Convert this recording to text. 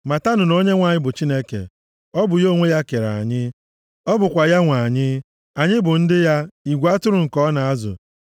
Matanụ na Onyenwe anyị bụ Chineke. Ọ bụ ya onwe ya kere anyị, + 100:3 \+xt Job 10:3; Efe 2:10\+xt* ọ bụkwa ya nwe anyị, anyị bụ ndị ya, igwe atụrụ nke ọ na-azụ.